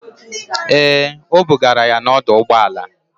Ee, o bugara ya n'ọdọụgbọala.